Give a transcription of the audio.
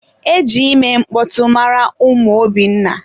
E ji ime mkpọtụ mara ụmụ Obinna.